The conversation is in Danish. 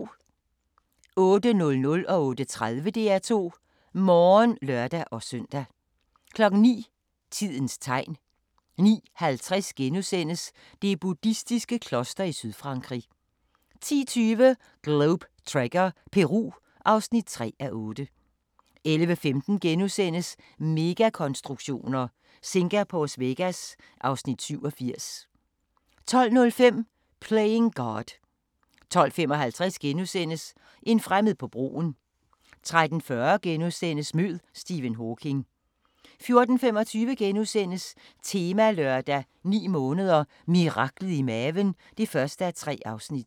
08:00: DR2 Morgen (lør-søn) 08:30: DR2 Morgen (lør-søn) 09:00: Tidens Tegn 09:50: Det buddhistiske kloster i Sydfrankrig * 10:20: Globe Trekker – Peru (3:8) 11:15: Megakonstruktioner: Singapores Vegas (Afs. 87)* 12:05: Playing God 12:55: En fremmed på broen * 13:40: Mød Stephen Hawking * 14:25: Temalørdag: 9 måneder – miraklet i maven (1:3)*